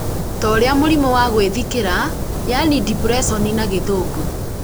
ta ũrĩa mũrimũ wa gwĩthikĩra yaani depression na gĩthũngũ